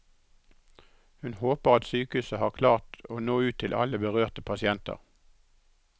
Hun håper at sykehuset har klart å nå ut til alle berørte pasienter.